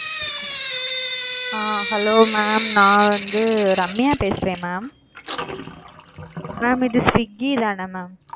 அ hello mam நான் வந்து ரம்யா பேசுறேன் mam, mam இது swiggy தான mam?